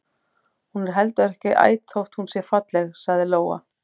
Hún er heldur ekki æt þótt hún sé falleg, sagði Lóa.